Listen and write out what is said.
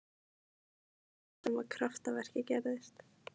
En þá var það sem kraftaverkið gerðist.